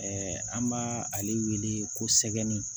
an b'a ale wele ko sɛgɛn